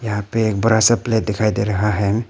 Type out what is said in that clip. यहां पे एक बड़ा सा प्लेट दिखाई दे रहा है।